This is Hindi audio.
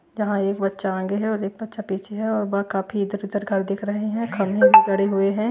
जहां एक बच्चा आगे है और एक अच्छा पीछे है और वह काफी इधर उधर घर दिख रहे हैं खंभे भी खड़े हुए हैं।